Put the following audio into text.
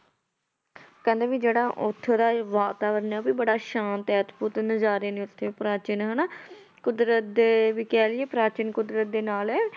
ਕਹਿੰਦੇ ਵੀ ਜਿਹੜਾ ਉੱਥੋਂ ਦਾ ਵਾਤਾਵਰਨ ਹੈ ਉਹ ਵੀ ਬੜਾ ਸ਼ਾਂਤ ਹੈ, ਅਦਭੁਤ ਨਜ਼ਾਰੇ ਨੇ ਉੱਥੇ ਪ੍ਰਾਚੀਨ ਹਨਾ ਕੁਦਰਤ ਦੇ ਵੀ ਕਹਿ ਲਈਏ ਪ੍ਰਾਚੀਨ ਕੁਦਰਤ ਦੇ ਨਾਲ ਹੈ